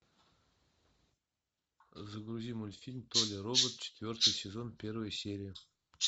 загрузи мультфильм толя робот четвертый сезон первая серия